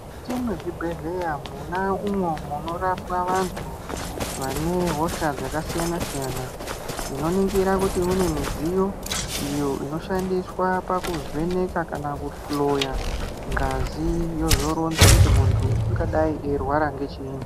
Mukati mwezvibhedhleya mwona unwo munorapwa vantu vane hosha dzakasiyana siyana tinoningira kuti mune midziyo iyo inoshandiswa pakuvheneka kana kuhloya ngazi yozoronza kuti muntu ungadai eirwara ngechiini.